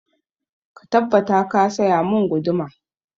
Ka tabbata ka saya mun guduma!